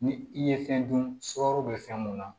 Ni i ye fɛn dun suraro be fɛn mun na